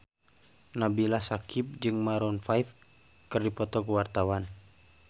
Nabila Syakieb jeung Maroon 5 keur dipoto ku wartawan